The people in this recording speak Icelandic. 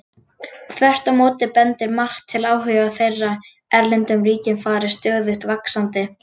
Þvert á móti bendir margt til að áhugi þeirra á erlendum ríkjum fari stöðugt vaxandi.